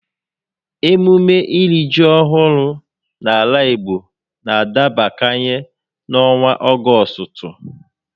Emume iri ji ọhụrụ n'ala Igbo n'adabakanye n'ọnwa Ọgọstụ